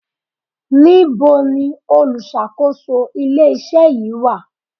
Níbo ni olùṣàkóso ilé iṣẹ́ yìí wà?